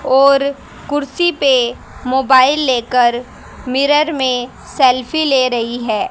और कुर्सी पे मोबाइल लेकर मिरर में सेल्फी ले रही है।